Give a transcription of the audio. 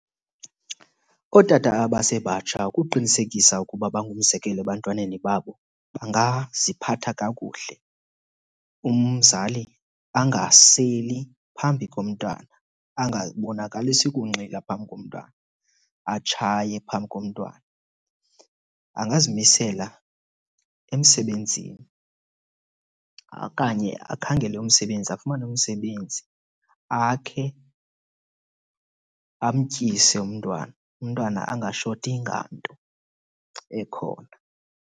Ootata abasebatsha ukuqinisekisa ukuba bangumzekelo ebantwaneni babo bangaziphatha kakuhle. Umzali angaseli phambi komntwana, angabonakalisi kunxila phambi komntwana, atshaye phambi komntwana. Angazimisela emsebenzini okanye akhangele umsebenzi, afumane umsebenzi. Akhe, amtyise umntwana. Umntwana angashoti nganto ekhona.